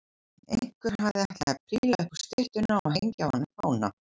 Einhver hafði ætlað að príla upp á styttuna og hengja á hana fána.